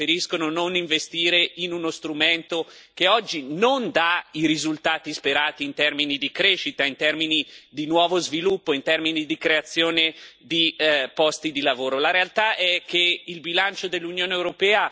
Ci sarà un motivo se preferiscono non investire in uno strumento che oggi non dà i risultati sperati in termini di crescita, in termini di nuovo sviluppo, in termini di creazione di posti di lavoro.